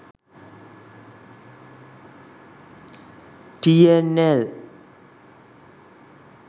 tnl